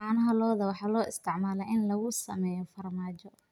Caanaha lo'da waxaa loo isticmaalaa in lagu sameeyo farmaajo.